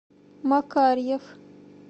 макарьев